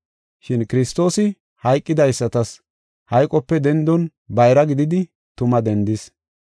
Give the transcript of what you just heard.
Shin Kiristoosi hayqidaysatas hayqope dendon bayra gididi tuma dendis.